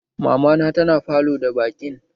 Mamana tana falo da baƙin